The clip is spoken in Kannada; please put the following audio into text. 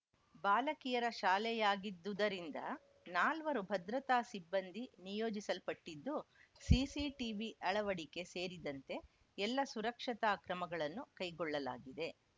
ಬಾಲಕಿಯರ ಶಾಲೆಯಾಗಿದ್ದುದರಿಂದ ನಾಲ್ವರು ಭದ್ರತಾ ಸಿಬ್ಬಂದಿ ನಿಯೋಜಿಸಲ್ಪಟ್ಟಿದ್ದು ಸಿಸಿಟಿವಿ ಅಳವಡಿಕೆ ಸೇರಿದಂತೆ ಎಲ್ಲ ಸುರಕ್ಷತಾ ಕ್ರಮಗಳನ್ನು ಕೈಗೊಳ್ಳಲಾಗಿದೆ